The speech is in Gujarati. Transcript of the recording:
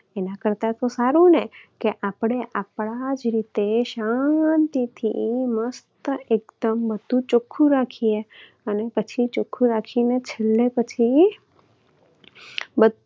એના કરતા તો સારું ને કે આપણે આપણા જ રીતે શાંતિથી મસ્ત એકદમ બધું ચોખ્ખું રાખીએ અને પછી ચોખ્ખું રાખીને છેલ્લે પછી